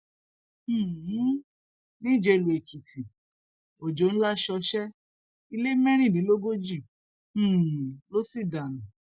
um níjelúèkìtì ọjọ ńlá ṣọṣẹ ilé mẹrìndínlógójì um ló sì dànù